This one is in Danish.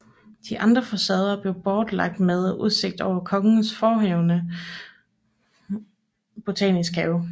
De andre facader blev blotlagt med udsigt over kongens forhenværende botaniske have